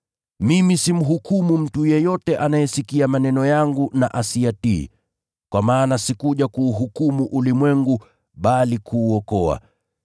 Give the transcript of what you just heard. “Mimi simhukumu mtu yeyote anayesikia maneno yangu na asiyatii, kwa maana sikuja kuuhukumu ulimwengu, bali kuuokoa.